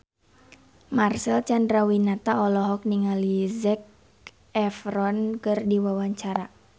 Marcel Chandrawinata olohok ningali Zac Efron keur diwawancara